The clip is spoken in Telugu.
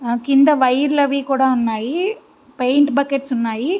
క్రింద వైర్ లు అవి కూడా ఉన్నాయి. పెయింట్ బకెట్స్ ఉన్నాయి.